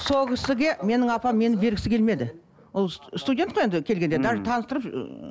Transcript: сол кісіге менің апам мені бергісі келмеді ол студент қой енді келгенде даже таныстырып ыыы